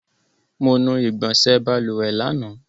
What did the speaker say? Mo nu igbọnsẹ̀ balùwẹ̀ lánàá.